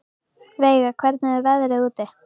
Veiga, hvernig er veðrið úti?